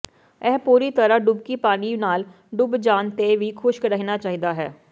ਇਹ ਪੂਰੀ ਤਰ੍ਹਾਂ ਡੁਬਕੀ ਪਾਣੀ ਨਾਲ ਡੁੱਬ ਜਾਣ ਤੇ ਵੀ ਖੁਸ਼ਕ ਰਹਿਣਾ ਚਾਹੀਦਾ ਹੈ